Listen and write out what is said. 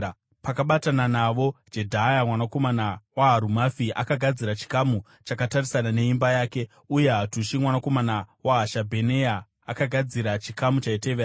Pakabatana navo, Jedhaya mwanakomana waHarumafi akagadzira chikamu chakatarisana neimba yake, uye Hatushi mwanakomana waHashabheneya akagadzira chikamu chaitevera.